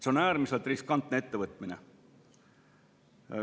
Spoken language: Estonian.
See on äärmiselt riskantne ettevõtmine.